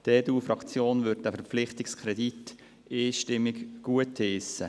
Die EDU-Fraktion wird diesen Verpflichtungskredit einstimmig gutheissen.